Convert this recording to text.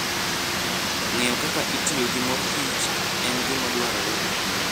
Ng'eyo kaka itiyo gi mor kich en gima dwarore ahinya.